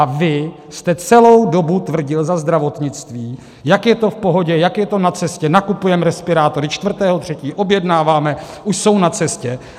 A vy jste celou dobu tvrdil za zdravotnictví, jak je to v pohodě, jak je to na cestě, nakupujeme respirátory, 4. 3. objednáváme, už jsou na cestě.